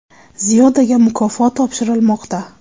Ziyodaga mukofot topshirilmoqda.